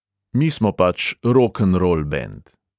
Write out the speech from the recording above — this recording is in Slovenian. Mi smo pač rokenrol bend.